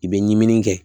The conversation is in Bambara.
I bɛ ɲinini kɛ